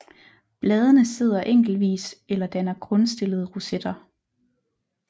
Bladene sidder enkeltvis eller danner grundstillede rosetter